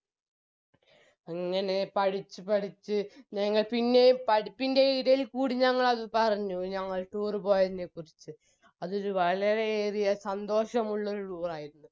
അങ്ങനെ പഠിച്ച് പഠിച്ച് ഞങ്ങൾ പിന്നെയും പഠിപ്പിന്റെ ഇടയിൽ ക്കൂടി ഞങ്ങളത് പറഞ്ഞു ഞങ്ങൾ tour പോയതിനെ കുറിച്ച് അതൊരു വളരെവലിയ സന്തോഷമുള്ളഒരു tour ആയിരുന്നു